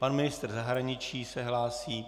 Pan ministr zahraničí se hlásí.